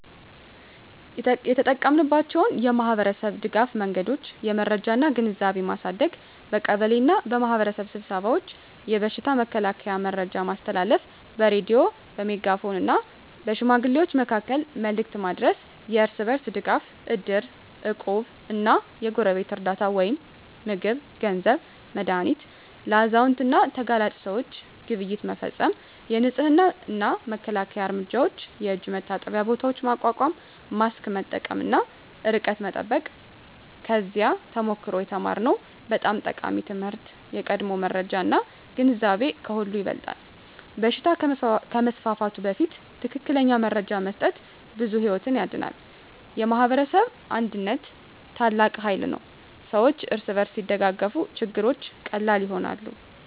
የተጠቀማችንባቸው የማኅበረሰብ ድጋፍ መንገዶች የመረጃ እና ግንዛቤ ማሳደግ በቀበሌ እና በማኅበረሰብ ስብሰባዎች የበሽታ መከላከያ መረጃ ማስተላለፍ በሬዲዮ፣ በሜጋፎን እና በሽማግሌዎች መካከል መልዕክት ማድረስ የእርስ በርስ ድጋፍ እድር፣ እቁብ እና የጎረቤት ርዳታ (ምግብ፣ ገንዘብ፣ መድሃኒት) ለአዛውንት እና ለተጋላጭ ሰዎች ግብይት መፈፀም የንፅህና እና መከላከያ እርምጃዎች የእጅ መታጠቢያ ቦታዎች ማቋቋም ማስክ መጠቀም እና ርቀት መጠበቅ ከዚያ ተሞክሮ የተማርነው በጣም ጠቃሚ ትምህርት የቀድሞ መረጃ እና ግንዛቤ ከሁሉ ይበልጣል በሽታ ከመስፋፋቱ በፊት ትክክለኛ መረጃ መስጠት ብዙ ሕይወት ያድናል። የማኅበረሰብ አንድነት ታላቅ ኃይል ነው ሰዎች እርስ በርስ ሲደጋገፉ ችግሮች ቀላል ይሆናሉ።